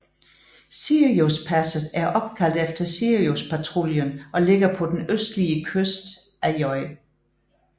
Siriuspasset er opkaldt efter Siriuspatruljen og ligger på den østlige kyst af J